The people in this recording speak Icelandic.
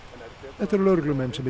þetta eru lögreglumenn sem eru